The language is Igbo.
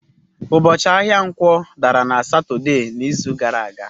Ụbọchị ahịa Nkwo dara na Satọde n'izu gara aga.